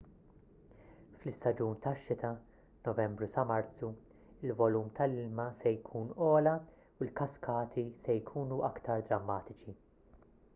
fl-istaġun tax-xita novembru sa marzu il-volum tal-ilma se jkun ogħla u l-kaskati se jkunu aktar drammatiċi